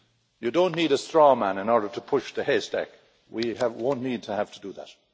You don't need a straw man in order to push the haystack, we won't need to have to do that.